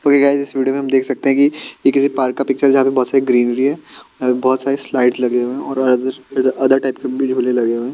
तो गायज़ इस वीडियो में देख सकते हैं कि ये किसी पार्क का पिक्चर जहां पे बहोत सारी ग्रीनरी हैं अ बहोत सारे स्लाइड लगे हुए हैं और अदर टाइप के भी झोले लगे हुए--